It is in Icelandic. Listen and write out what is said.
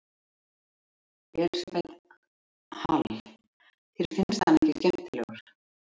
Elísabet Hall: Þér finnst hann ekki skemmtilegur?